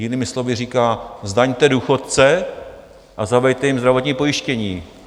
Jinými slovy říká, zdaňte důchodce a zaveďte jim zdravotní pojištění.